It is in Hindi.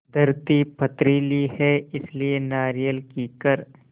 धरती पथरीली है इसलिए नारियल कीकर